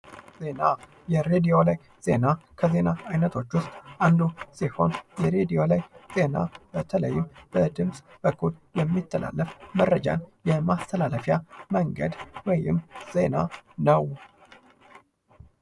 የሬዲዮ ላይ ዜና ከዜና አይነቶች ውስጥ አንዱ ሲሆን የሬዲዮ ዜና በድምጽ በኩል መረጃን የማስተላለፊያ መንገድ ወይም ዜና ነው።